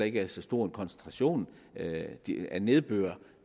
ikke er så stor en koncentration af nedbør